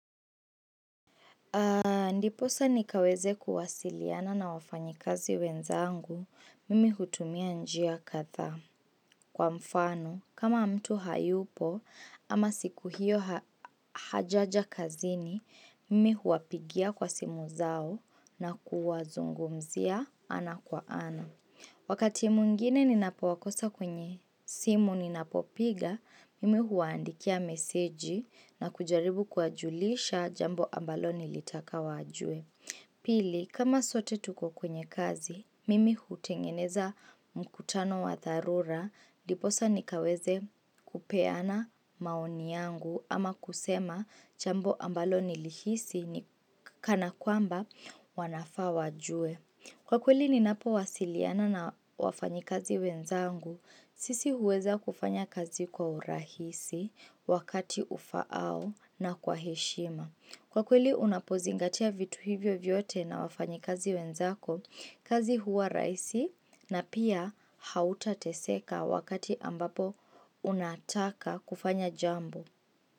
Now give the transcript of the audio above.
Ndipo sa nikaweze kuwasiliana na wafanyakazi wenzangu mimi hutumia njia kadha kwa mfano kama mtu hayupo ama siku hiyo hajaja kazini mimi huapigia kwa simu zao na kuwa zungumzia ana kwa ana. Wakati mwingine ninapowakosa kwenye simu ninapopiga, mimi huwaandikia message na kujaribu kuwajulisha jambo ambalo nilitaka wajue. Pili, kama sote tuko kwenye kazi, mimi hutengeneza mkutano wa dharura. Ndipo sa nikaweze kupeana maoni yangu ama kusema jambo ambalo nilihisi ni kana kwamba wanafaa wa jue. Kwa kweli ni napo wasiliana na wafanyakazi wenzangu, sisi huweza kufanya kazi kwa urahisi wakati ufao na kwa heshima. Kwa kweli unapozingatia vitu hivyo vyote na wafanyakazi wenzako, kazi huwa rahisi na pia hautateseka wakati ambapo unataka kufanya jambo.